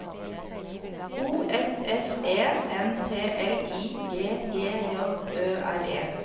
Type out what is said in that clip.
O F F E N T L I G G J Ø R E